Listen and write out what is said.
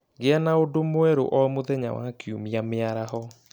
Gĩa na ũndũ mwerũ o mũthenya wa Kiumia mĩaraho